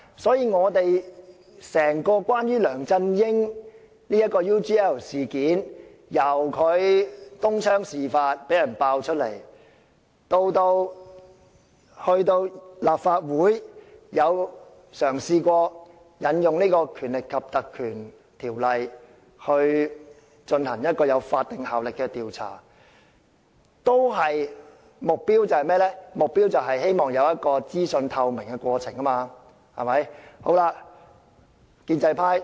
所以，關於梁振英的 UGL 事件，由東窗事發到立法會嘗試引用《立法會條例》進行有法定效力的調查，目標只是希望當中有資訊透明的過程。